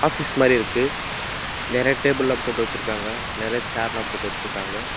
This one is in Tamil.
ஆபீஸ் மாரி இருக்கு நெறைய டேப்ள்லா போட்டு வெச்சுருக்காங்க நெறைய சேர்ல்லா போட்டு வெச்சுருக்காங்க.